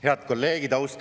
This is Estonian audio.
Head kolleegid!